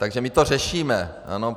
Takže my to řešíme.